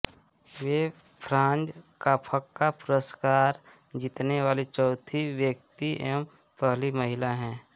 वे Franz Kafka पुरस्स्कार जीतने वाली चौथी व्यक्ति एवं पहली महिला हैं